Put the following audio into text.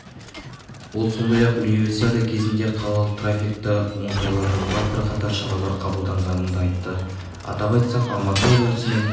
ол сондай-ақ универсиада кезінде қалалық траффикті оңтайландыруға бірқатар шаралар қабылданғанын да айтты атап айтсақ алматы облысымен